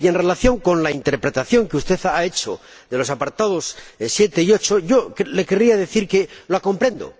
En relación con la interpretación que usted ha hecho de los apartados 7 y 8, le querría decir que la comprendo.